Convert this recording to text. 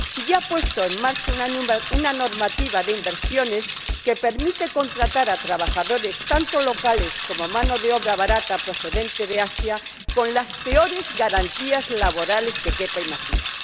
y ha puesto en marcha una normativa de inversiones que permite contratar a trabajadores locales y a mano de obra barata procedente de Asia con las peores garantías laborales que quepa imaginar.